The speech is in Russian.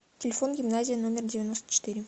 телефон гимназия номер девяносто четыре